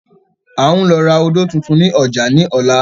À ń lọ ra odò tuntun ni ọjà ni ọ̀la